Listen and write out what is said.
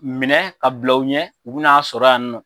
Minɛ ka bila u ɲɛ ,u be n'a sɔrɔ yan nɔ.